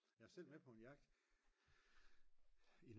jeg var selv med på en jagt